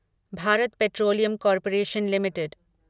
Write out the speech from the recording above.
Bharat petroleum corporation limited